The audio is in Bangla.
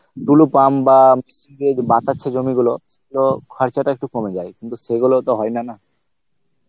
দুলু pump বা জমি গুলো, তো খরচটা একটু কমে যায়, কিন্তু সেগুলো তো হয়না না